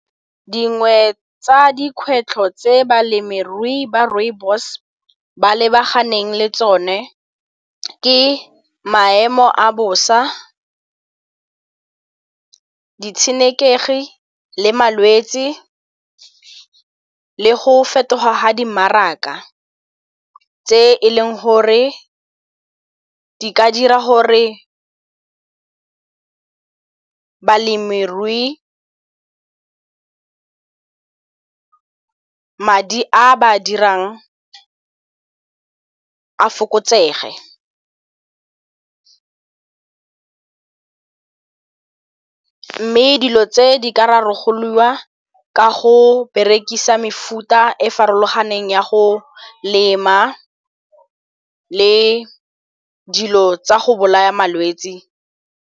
Dingwe tsa dikgwetlho tse balemirui ba rooibos ba lebaganeng le tsone ke maemo a bosa, ditshenekegi le malwetse, le go fetoga ga dimmaraka tse e leng gore di ka dira gore balemirui madi a ba a dirang a fokotsege. Mme dilo tse di ka rarabololwa ka go berekisa mefuta e farologaneng ya go lema le dilo tsa go bolaya malwetse.